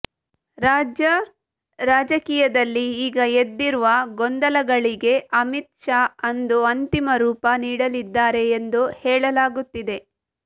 ರಾಜ್ಯ ರಾಜಕೀಯದಲ್ಲಿ ಈಗ ಎದ್ದಿರುವ ಗೊಂದಲಗಳಿಗೆ ಅಮಿತ್ ಶಾ ಅಂದು ಅಂತಿಮ ರೂಪ ನೀಡಲಿದ್ದಾರೆ ಎಂದು ಹೇಳಲಾಗುತ್ತಿದೆ